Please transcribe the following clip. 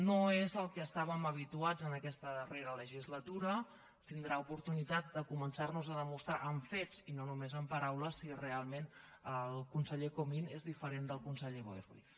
no és al que estàvem habituats en aquesta darrera legislatura tindrà oportunitat de començar nos a demostrar amb fets i no només amb paraules si realment el conseller comín és diferent del conseller boi ruiz